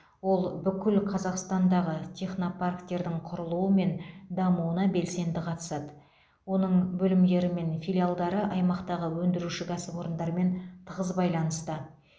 ол бүкіл қазақстандағы технопарктердің құрылуы мен дамуына белсенді қатысады оның бөлімдері мен филиалдары аймақтағы өндіруші кәсіпорындармен тығыз байланыста